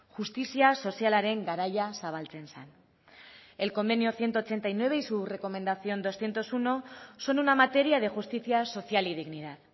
justizia sozialaren garaia zabaltzen zen el convenio ciento ochenta y nueve y su recomendación doscientos uno son una materia de justicia social y dignidad